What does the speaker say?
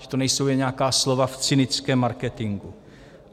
Že to nejsou jen nějaká slova v cynickém marketingu.